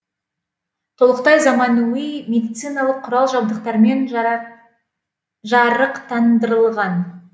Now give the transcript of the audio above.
толықтай заманауи медициналық құрал жабдықтармен жарықтандырылған